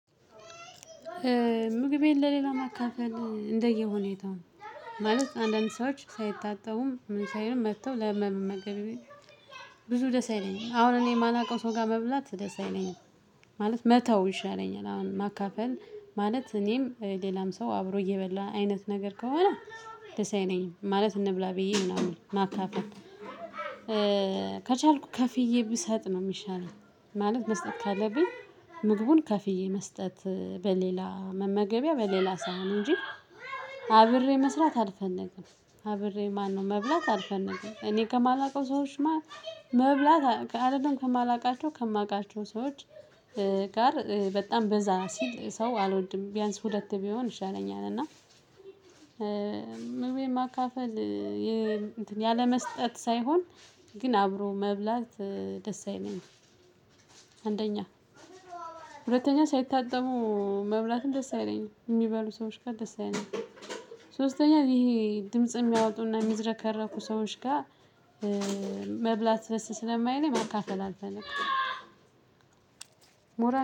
ምግቤን ለሌላ መካፈል እንደየ ሁኔታው ማለት አንዳንድ ሰዎች ሳይታሰቡም ምን ሳይሆን መጥተው ለመመገብ ብዙ ደስ አይለኝም። አሁን እኔ የማላውቀው ሰው ጋር መብላት ደስ አይለኝም። ማለት መተው ይሻለኛል። አሁን ማካፈል ማለት እኔም ሌላም ሰው አብሮ እየበላ አይነት ነገር ከሆነ ደስ አይለኝም። ማለት እንብላ ብዬ ምናምን ማካፈል ከቻልኩ ከፍዬ ብሰጥ ነው የሚሻለው ማለት መስጠት ካለብኝ ምግቡን ከፍዬ መስጠት በሌላ መመገቢያ በሌላ ሳህን እንጂ አብሬ መስራት አልፈነግም አብሬ ማነው መብላት አልፈንም እኔ ከማላውቀው ሰዎች መብላት አይደለም። ከማላውቃቸው ከማውቃቸው ሰዎች ጋር በጣም በዛ ሲል ሰው አልወድም። ቢያንስ ሁለት ቢሆን ይሻለኛል እና መካፈል ያለመስጠት ሳይሆን ግን አብሮ መብላት ደስ አይለኝም። አንደኛ ሁለተኛ ሳይታጠሙ መብላትም ደስ አይለኝም የሚባሉ ሰዎች ጋር ደስ አይለኝም ሶስተኛ ይሄ ድምጽ የሚያወጡና የሚዝረከረኩ ሰዎች ጋር መብላት ደስ ስለማይለኝ መካፈል አልፈልግም።